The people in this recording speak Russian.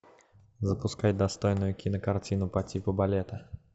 запускай достойную кинокартину по типу балета